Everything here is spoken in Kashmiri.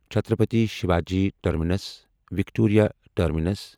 Chhatrapati Shivaji terminus Victoria terminus